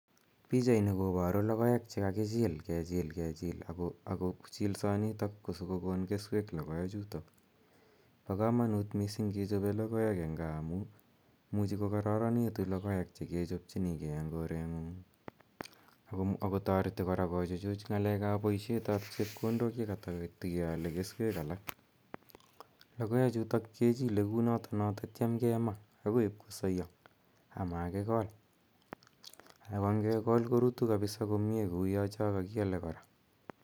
Pichani koparu logoek che kakichil kechil kechil. Ako chilsonitok ko siko kokon keswek logoechutok. Pa kamanut kechope keswek eng' gaa amu imuchi kokararanitu logoek che kechopchinigei eng' koreng'ung'. Ako tareti kora kochuchuch ng'alek ap poishet ap chepkondok ye katatatikeale keswek alak. Logoechutok ke chile kou no tatiam kema akpi ip kosaya ama kikol. Ako ngekol korutu kapisa komye kouya cha kakiale kora.